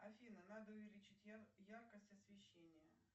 афина надо увеличить яркость освещения